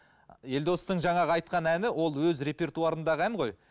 елдостың жаңағы айтқан әні ол өз репертуарындағы ән ғой